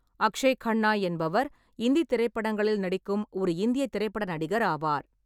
அக்ஷய் கன்னா என்பவர் இந்தித் திரைப்படங்களில் நடிக்கும் ஒரு இந்தியத் திரைப்பட நடிகர் ஆவார்.